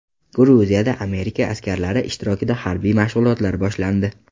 Gruziyada Amerika askarlari ishtirokida harbiy mashg‘ulotlar boshlandi.